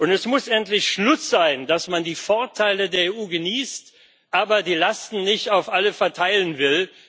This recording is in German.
Es muss endlich Schluss damit sein, dass man die Vorteile der EU genießt, aber die Lasten nicht auf alle verteilen will.